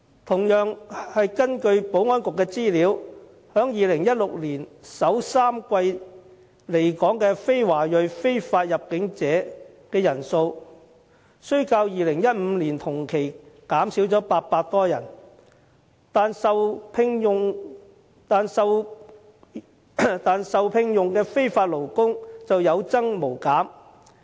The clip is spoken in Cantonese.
同樣是根據保安局的資料 ，2016 年首3季來港的非華裔非法入境者人數雖然較2015年同期減少了800多人，但受聘用的非法勞工卻有增無減。